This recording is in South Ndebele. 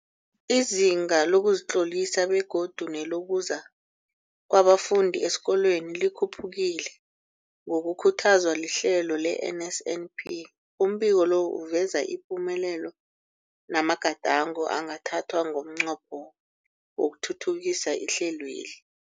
Izinga lokuzitlolisa begodu nelokuza kwabafundi esikolweni likhuphukile ngokukhuthazwa lihlelo le-NSNP. Umbiko lo uveza ipumelelo namagadango angathathwa ngomnqopho wokuthuthukisa ihlelweli.